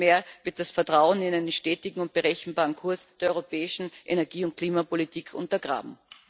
Vielmehr wird das Vertrauen in einen stetigen und berechenbaren Kurs der europäischen Energie und Klimapolitik untergraben.